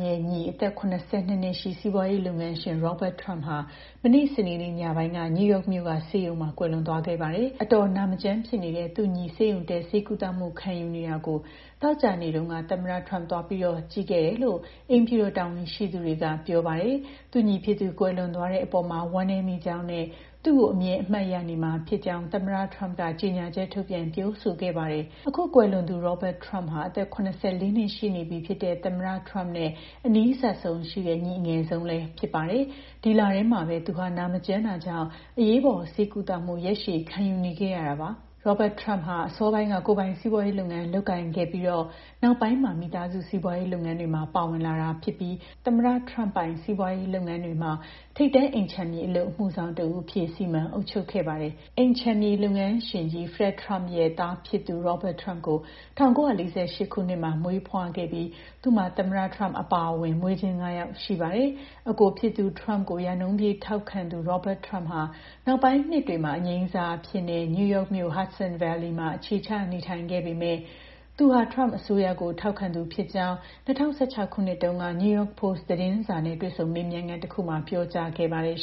ရဲ့ညီ အသက် ၇၂ နှစ်ရှိ စီးပွားရေးလုပ်ငန်းရှင် Robert Trump ဟာ မနေ့ စနေနေ့ညပိုင်းက နယူးယောက်မြို့ ဆေးရုံမှာ ကွယ်လွန်သွားခဲ့ပါတယ်။ အတော်နာမကျန်းဖြစ်နေတဲ့ သူ့ညီ ဆေးရုံတက် ဆေးကုသမှု ခံယူနေတာကို သောကြာနေ့တုန်းက သမ္မတ Trump သွားပြီး ကြည့်ခဲ့သေးတယ်လို့ အိမ်ဖြူတော် တာဝန်ရှိသူတွေက ပြောပါတယ်။ သူ့ညီဖြစ်သူ ကွယ်လွန်သွားတဲ့အပေါ်မှာ ဝမ်းနည်းမိကြောင်းနဲ့ သူ့ကို အမြဲအမှတ်ရနေမှာဖြစ်ကြောင်း သမ္မတ Trump က ကြေညာချက်ထုတ်ပြန် ပြောဆိုခဲ့ပါတယ်။ အခုကွယ်လွန်သူ Robert Trump ဟာ အသက် ၇၄ နှစ်ရှိနေပြီဖြစ်တဲ့ သမ္မတ Trump နဲ့ အနီးစပ်ဆုံးရှိတဲ့ ညီအငယ်ဆုံးလည်း ဖြစ်ပါတယ်။ ဒီလထဲမှာပဲ သူဟာ နာမကျန်းတာကြောင့် အရေးပေါ် ဆေးကုသမှု ရက်ရှည်ခံယူနေခဲ့ရပါတယ်။ Robert Trump က အစောပိုင်းက ကိုယ်ပိုင်စီးပွားရေးလုပ်ငန်း လုပ်ကိုင်ခဲ့ပြီးနောက်မှာ မိသားစု စီးပွားရေးလုပ်ငန်းတွေမှာ ပါဝင်လာတာဖြစ်ပြီး သမ္မတ Trump ပိုင် စီးပွားရေးလုပ်ငန်းတွေမှာ ထိပ်တန်း အိမ်ခြံမြေ အလုပ်အမှုဆောင်တဦးအဖြစ် စီမံအုပ်ချုပ်ခဲ့ပါတယ်။ အိမ်ခြံမြေလုပ်ငန်းရှင်ကြီး Fred Trump ရဲ့ သားဖြစ်သူ Robert Trump ကို ၁၉၄၈ ခုနှစ်မှာ မွေးဖွားခဲ့ပြီး သူ့မှာ သမ္မတ Donald Trump အပါအဝင် မွေးချင်း ၅ ယောက်ရှိပါတယ်။ အစ်ကိုဖြစ်သူ Trump ကို ရာနှုန်းပြည့် ထောက်ခံသူ Robert Trump ဟာ နောက်ပိုင်းနှစ်တွေမှာ အငြိမ်းစားအဖြစ်နဲ့ နယူးယောက်မြို့ Hudson Valley မှာ အခြေချ နေထိုင်နေခဲ့ပေမယ့် သူဟာ Trump အစိုးရကို ထောက်ခံသူဖြစ်ကြောင်း ၂၀၁၆ ခုနှစ်တုန်းက New York Post သတင်းစာနဲ့ တွေ့ဆုံမေးမြန်းခန်းတခုမှာ ပြောခဲ့ပါတယ်